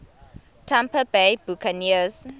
tampa bay buccaneers